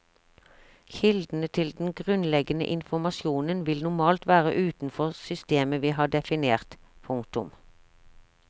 Kildene til den grunnleggende informasjonen vil normalt være utenfor systemet vi har definert. punktum